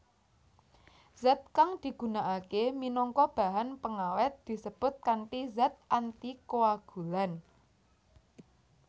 Zat kang digunakake minangka bahan pengawet disebut kanti zat antikoagulan